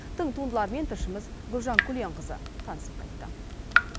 тың туындылармен тілшіміз гүлжан күленқызы танысып қайтты